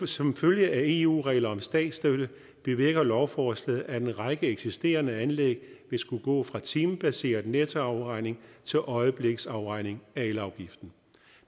som følge af eu regler om statsstøtte bevirker lovforslaget at en række eksisterende anlæg vil skulle gå fra timebaseret nettoafregning til øjebliksafregning af elafgiften